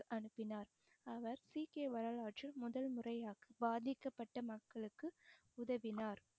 அனுப்பினார் அவர் சீக்கிய வரலாற்றில் முதல் முறையாக பாதிக்கப்பட்ட மக்களுக்கு உதவினார்